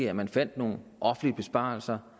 at man fandt nogle besparelser